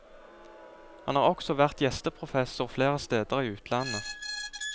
Han har også vært gjesteprofessor flere steder i utlandet.